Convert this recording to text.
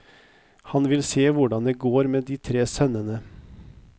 Han vil se hvordan det går med de tre sønnene.